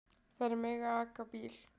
Þær mega aka bíl.